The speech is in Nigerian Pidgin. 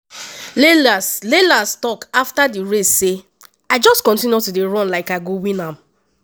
lyles lyles tok afta di race say “i just continue to dey run like i go win am.